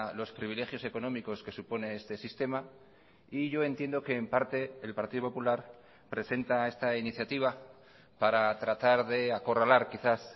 los privilegios económicos que supone este sistema y yo entiendo que en parte el partido popular presenta esta iniciativa para tratar de acorralar quizás